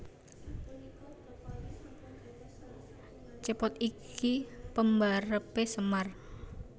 Cepot iki pembarepe Semar